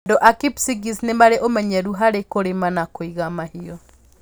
Andũ a Kipsigis nĩ marĩ ũmenyeru harĩ kũrĩma na kũiga mahiũ.